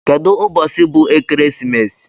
Kedu ubosi bu ekeresimesi?